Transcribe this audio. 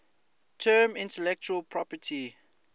term intellectual property